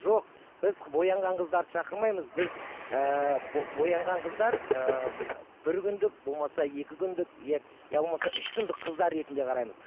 жоқ біз боянған қыздарды шақырмаймыз біз ііі боянған қыздар ыыы бір күндік болмаса екі күндік иә иә болмаса үш күндік қыздар ретінде қараймыз